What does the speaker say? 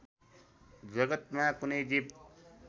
जगत्‍‍मा कुनै जीव